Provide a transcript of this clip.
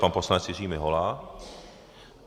Pan poslanec Jiří Mihola.